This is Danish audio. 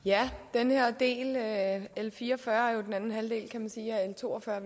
den her del altså l fire og fyrre er jo den anden halvdel kan man sige af l to og fyrre